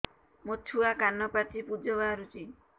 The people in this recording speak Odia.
ମୋ ଛୁଆ କାନ ପାଚି ପୂଜ ବାହାରୁଚି